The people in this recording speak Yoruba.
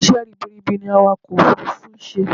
Isẹ́ ribiribi ni awakọ̀ òfurufú ń ṣe